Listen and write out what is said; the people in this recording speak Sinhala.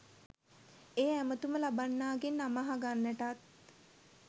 ඒ ඇමතුම ලබන්නාගෙන් නම අහගන්ටත්